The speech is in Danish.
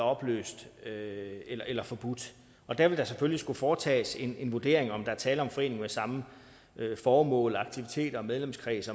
opløst eller forbudt og der vil der selvfølgelig skulle foretages en en vurdering af om der er tale om en forening med samme formål aktiviteter og medlemskreds